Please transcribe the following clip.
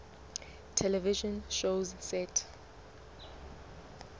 television shows set